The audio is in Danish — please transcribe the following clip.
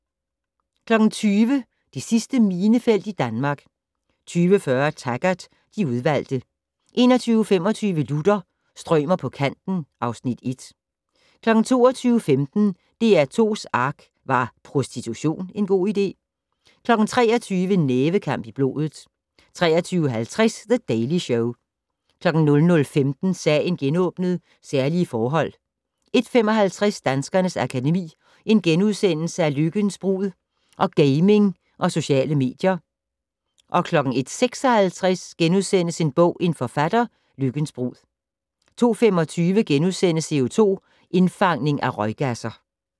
20:00: Det sidste minefelt i Danmark 20:40: Taggart: De udvalgte 21:25: Luther - strømer på kanten (Afs. 1) 22:15: DR2's ARK - Var prostitution en god idé? 23:00: Nævekamp i blodet 23:50: The Daily Show 00:15: Sagen genåbnet: Særlige forhold 01:55: Danskernes Akademi: Lykkens brud & Gaming og Sociale medier * 01:56: En bog - en forfatter: Lykkens brud * 02:25: CO2-indfangning fra røggasser *